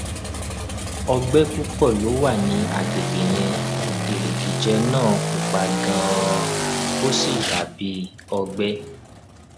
ọgbẹ púpọ ló wà ní àgbègbè yẹn erigijẹ naa pupa ganan ó sì dà bí ọgbẹ